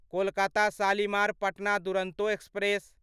Kolkata Shalimar Patna Duronto express